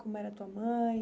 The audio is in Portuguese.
Como era tua mãe?